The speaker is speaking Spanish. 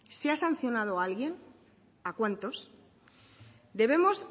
se ha sancionado a alguien a cuántos debemos